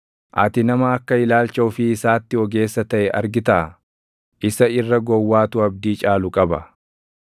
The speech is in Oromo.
Ati nama akka ilaalcha ofii isaatti ogeessa taʼe argitaa? Isa irra gowwaatu abdii caalu qaba.